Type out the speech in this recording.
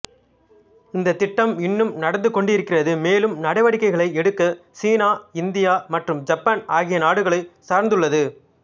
இந்த திட்டம் இன்னும் நடந்து கொண்டிருக்கிறது மேலும் நடவடிக்கைகளை எடுக்க சீனா இந்தியா மற்றும் ஜப்பான் ஆகிய நாடுகளை சார்ந்துள்ளது